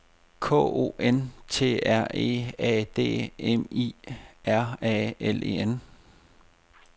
K O N T R E A D M I R A L E N